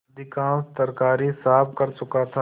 अधिकांश तरकारी साफ कर चुका था